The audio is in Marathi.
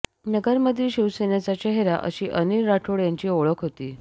नगरमधील शिवसेनेचा चेहरा अशी अनिल राठोड यांची ओळख होती